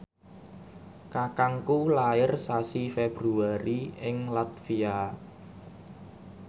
kakangku lair sasi Februari ing latvia